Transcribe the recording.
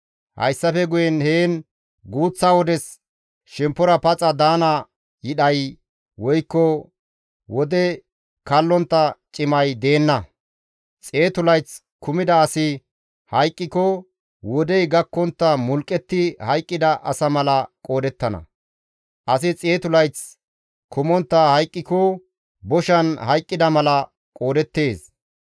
Hayssafe guyen heen guuththa wodes shemppora paxa daana yidhay woykko wode kallontta cimay deenna; xeetu layth kumida asi hayqqiko wodey gakkontta mulqqetti hayqqida asa mala qoodettana; asi xeetu layth kumontta hayqqiko boshan hayqqida mala qoodeettes.